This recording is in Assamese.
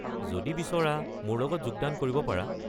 যদি বিচৰা মোৰ লগত যোগদান কৰিব পাৰা।